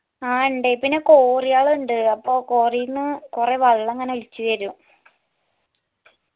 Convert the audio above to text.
ആ ഇണ്ട് പിന്നെ cory യളുണ്ട് cory ന്ന് കൊറേ വെള്ളം ഇങ്ങനെ ഒലിച്ച് വരും